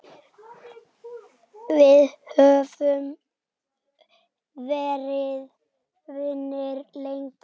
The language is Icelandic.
Við höfum verið vinir lengi.